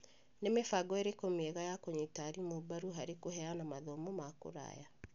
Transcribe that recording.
Nĩ mĩbango ĩrĩkũ mĩega ya kũnyita arimũ mbaru harĩ kũheana mathomo ma kũraya?